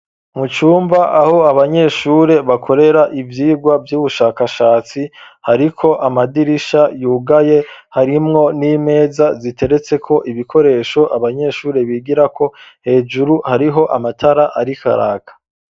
Mu cumba aho abanyeshuri bakorera ivyigwa Vy'ubushakashatsi, hariko amadirisha yugaye, harimwo n'imeza ziteretse ko ibikoresho abanyeshuri bigirako, hejuru hariho amatara arikaraka.